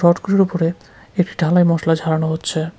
উপরে একটি ঢালাই মসলা ঝাড়ানো হচ্ছে।